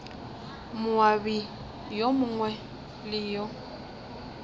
moabi yo mongwe le yo